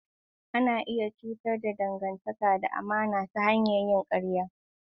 Ana iya cutar da dangantaka da amana ta hanyar yin ƙarya.